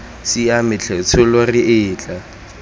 siame tlhe tsholo re etla